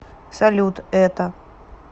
салют это